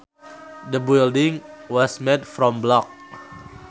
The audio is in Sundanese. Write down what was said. The building was made from blocks